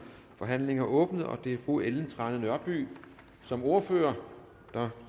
forhandlingen er åbnet det er fru ellen trane nørby som ordfører der